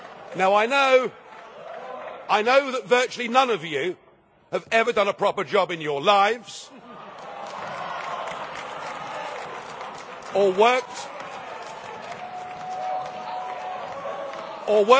Now I know that virtually none of you have ever done a proper job in your lives or